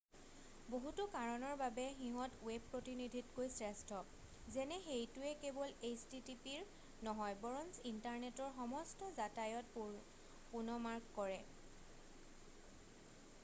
বহুতো কাৰণৰ বাবে সিহঁত ৱেব প্ৰতিনিধিতকৈ শ্ৰেষ্ঠ; যেনে সেইটোৱে কেৱল httpৰ নহয় বৰঞ্চ ইণ্টাৰনেটৰ সমস্ত যাতায়তৰ পুনঃমাৰ্গ কৰে।